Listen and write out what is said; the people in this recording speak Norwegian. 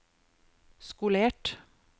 skolert